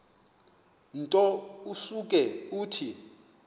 nto usuke uthi